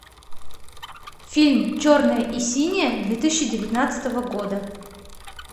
фильм черное и синее две тысячи девятнадцатого года